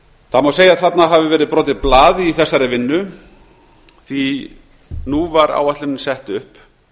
það má segja að þarna hafi verið brotið blað í þessari vinnu því nú var áætlunin sett upp